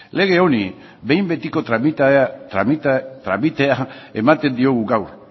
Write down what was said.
lege hori behin betiko tramitea ematen diogu gaur